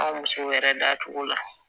A musow yɛrɛ dacogo la